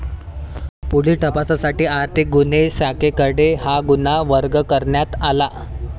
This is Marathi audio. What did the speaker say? पुढील तपासासाठी आर्थिक गुन्हे शाखेकडे हा गुन्हा वर्ग करण्यात आला.